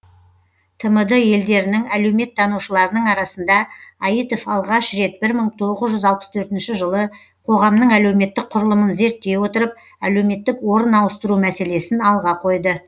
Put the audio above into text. тмд елдерінің әлеуметтанушыларының арасында аитов алғаш рет бір мың тоғыз жүз алпыс төртінші жылы қоғамның әлеуметтік құрылымын зерттей отырып әлеуметтік орын ауыстыру мәселесін алға қойды